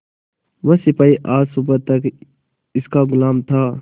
वह सिपाही आज सुबह तक इनका गुलाम था